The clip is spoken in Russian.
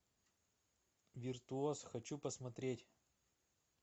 виртуоз хочу посмотреть